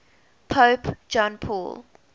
pope john paul